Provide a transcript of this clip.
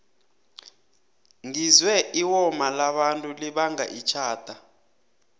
ngizwe iwoma labantu libanga itjhada